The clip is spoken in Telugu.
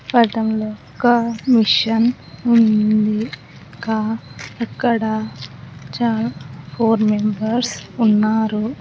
పటంలో ఒక మిషన్ ఉంది కా ఎక్కడ చా ఫోర్ మెంబర్స్ ఉన్నారు.